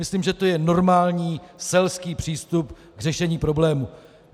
Myslím, že to je normální selský přístup k řešení problému.